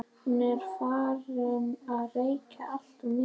Hún er farin að reykja alltof mikið.